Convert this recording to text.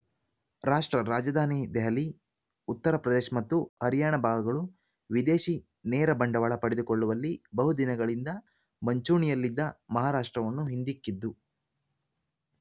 ರಾಷ್ಟ್ರ ರಾಜಧಾನಿ ದೆಹಲಿ ಉತ್ತರ ಪ್ರದೇಶ್ ಮತ್ತು ಹರಿಯಾಣ ಭಾಗಗಳು ವಿದೇಶಿ ನೇರ ಬಂಡವಾಳ ಪಡೆದುಕೊಳ್ಳುವಲ್ಲಿ ಬಹುದಿನಗಳಿಂದ ಮಂಚೂಣಿಯಲ್ಲಿದ್ದ ಮಹಾರಾಷ್ಟ್ರವನ್ನು ಹಿಂದಿಕ್ಕಿದ್ದು